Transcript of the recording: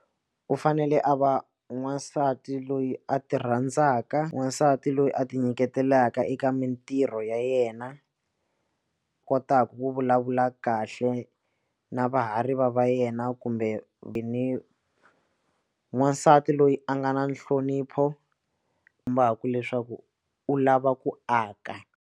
U fanele a va n'wansati loyi a ti rhandzaka wansati loyi a ti nyiketelaka eka mintirho ya yena kotaku ku vulavula kahle na vahariva va yena kumbe vini n'wansati loyi a nga na nhlonipho kombaku leswaku u lava ku aka.